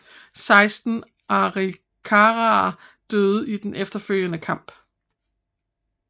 Seksten arikaraer døde i den følgende kamp